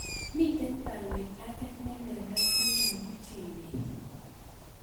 Miten baruet age nelelach neyobu Chebet